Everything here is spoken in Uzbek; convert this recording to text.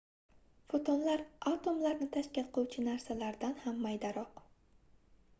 fotonlar atomlarni tashkil qiluvchi narsalardan ham maydaroq